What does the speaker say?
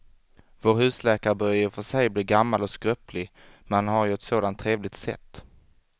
Vår husläkare börjar i och för sig bli gammal och skröplig, men han har ju ett sådant trevligt sätt!